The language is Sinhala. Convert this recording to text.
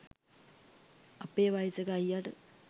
අපේ වයසක අයියට